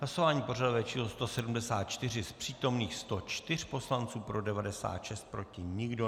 Hlasování pořadové číslo 174, z přítomných 104 poslanců pro 96, proti nikdo.